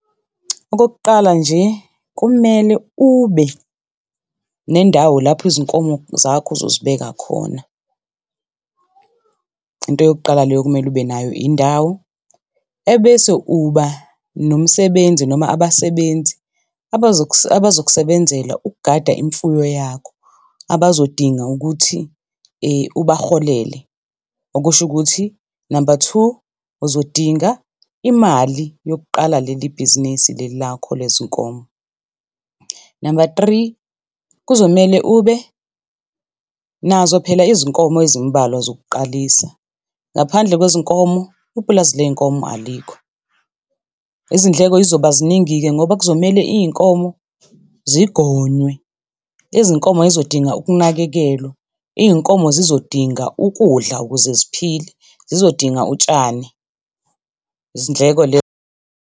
Okokuqala nje kumele ube nendawo lapho izinkomo zakho uzozibeka khona. Into yokuqala leyo okumele ube nayo indawo, ebese uba nomsebenzi noma abasebenzi abazokusebenzela ukugada imfuyo yakho abazodinga ukuthi ubarholele. Okusho ukuthi namba two, uzodinga imali yokuqala leli bhizinisi leli lakho lezinkomo. Namba three, kuzomele ube nazo phela izinkomo ezimbalwa zokuqalisa, ngaphandle kwezinkomo ipulazi lezinkomo alikho. Izindleko y'zoba ziningi-ke ngoba kuzomele izinkomo zigonywe, izinkomo zizodinga ukunakekelwa, iy'nkomo zizodinga ukudla ukuze ziphile, zizodinga utshani. Izindleko lezo .